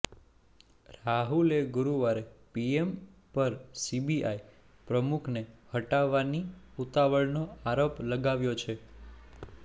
રાહુલે ગુરુવારે પીએમ પર સીબીઆઈ પ્રમુખને હટાવવાની ઉતાવળનો આરોપ લગાવ્યો છે